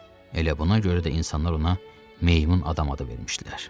Elə buna görə də insanlar ona meymun adam adı vermişdilər.